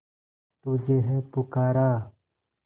तुझे है पुकारा